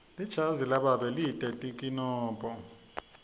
lijazi lababe lite tinkinombo